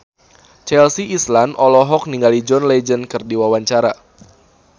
Chelsea Islan olohok ningali John Legend keur diwawancara